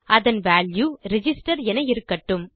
அதன் value register என இருக்கட்டும்